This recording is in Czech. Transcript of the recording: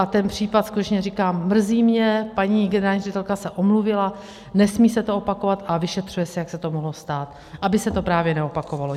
A ten případ, skutečně, říkám, mrzí mě, paní generální ředitelka se omluvila, nesmí se to opakovat a vyšetřuje se, jak se to mohlo stát, aby se to právě neopakovalo.